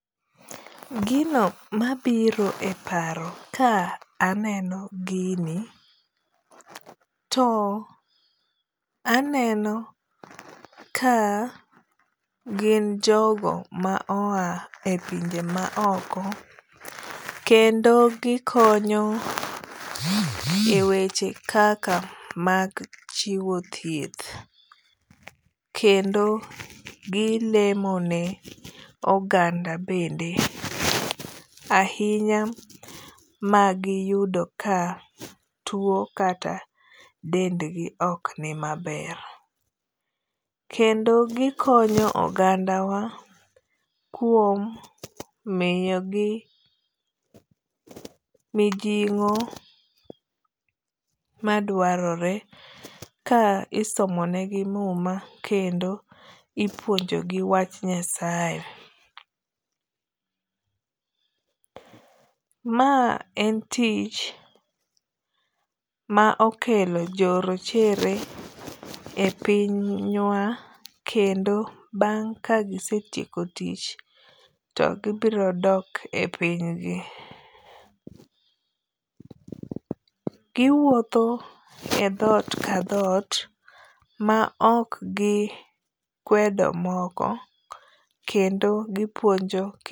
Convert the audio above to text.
Gino mabiro e paro ka aneno gini to aneno ka gin jogo ma oa e pinje ma oko kendo gikonyo e weche kaka mag chiwo thieth. Kendo gilemo ne oganda bende ahinya magiyudo ka tuo kata dendgi ok ni maber. Kendo gikonyo oganda wa kuom miyogi mijing'o madwarore ka isomonegi muma kendo ipuonjo gi wach Nyasaye. Ma en tich ma okelo jo rochere e piny wa kendo bang' ka gisetieko tich to gibiro dok e piny gi. Giwuotho e dhot ka dhot ma ok gikwedo moko kendo gipuonjo